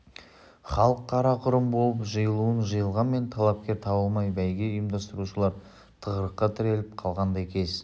халық қара-құрым болып жиылуын жиылғанмен талапкер табылмай бәйге ұйымдастырушылар тығырыққа тіреліп қалғандай кез